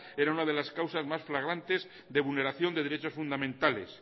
era una de las causas más flagrantes de vulneración de derechos fundamentales